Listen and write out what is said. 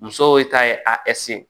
Musow ye ta ye a